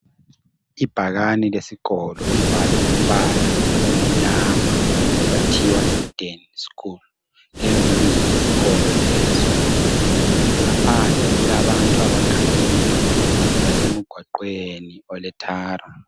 Ibhakane lesikolo libhalwe ngombala omnyama kwathiwa EDEN School lelo libizo lesikolo leso. Ngaphandle kulabantu abagade imidududu basemgwaqweni ole thara.